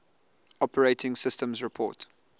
operating systems report